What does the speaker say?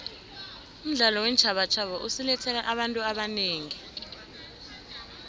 umdlalo weentjhabatjhaba usilethele abantu abanengi